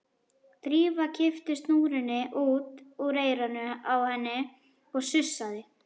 Drífa kippti snúrunni út úr eyranu á henni og sussaði.